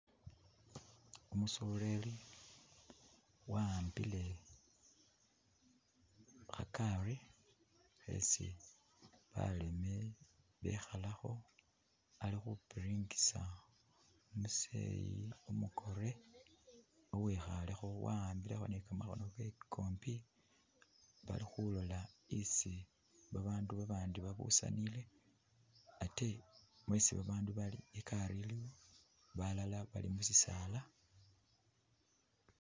Umusoleli wa’ambile kha’gari khesi baleme bekhalakho ali Khu’piringisa omu’zeyi umu’kore uwikhalekho awambilekho ni kamakhono kewe kombi bakhulola isi abandu abandi babusanile atee isi abandu bali igari iliwo, balala bali mushisala